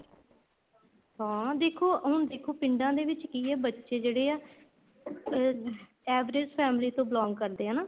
ਹਾਂ ਦੇਖੋ ਹੁਣ ਦੇਖੋ ਪਿੰਡਾਂ ਦੇ ਵਿੱਚ ਕੀ ਆ ਬੱਚੇ ਜਿਹੜੇ ਆ ਅਹ average family ਤੋਂ belong ਕਰਦੇ ਹੈ ਹਨਾ